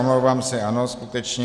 Omlouvám se, ano, skutečně.